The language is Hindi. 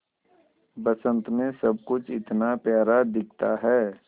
बसंत मे सब कुछ इतना प्यारा दिखता है